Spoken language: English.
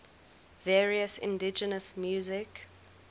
various indigenous music